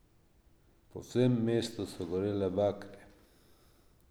Po vsem mestu so gorele bakle.